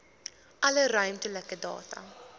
alle ruimtelike data